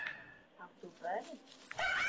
Átt þú börn?